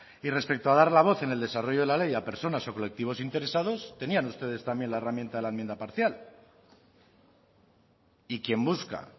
y respecto a dar la voz en el desarrollo de la ley a personas o colectivos interesados tenían ustedes también la herramienta a la enmienda parcial y quien busca